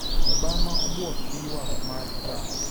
Obama obwok gi ywak mar Trump